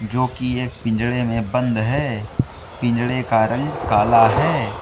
जो की एक पिंजड़े में बंद है पिंजड़े का रंग काला है।